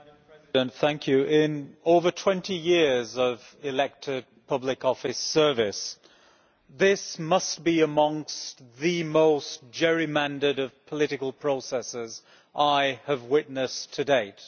Madam President, in over 20 years of elected public office service this must be amongst the most gerrymandered of political processes I have witnessed to date.